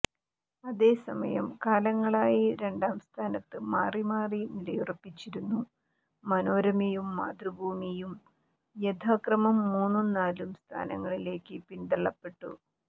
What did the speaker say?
അതേസമയം കാലങ്ങളായി രണ്ടാസ്ഥാനത്ത് മാറി മാറി നിലയുറപ്പിച്ചിരുന്നു മനോരമയും മാതൃഭൂമിയും യഥാക്രമം മൂന്നും നാലും സ്ഥാനങ്ങളിലേക്ക് പിന്തള്ളപ്പെട്ടു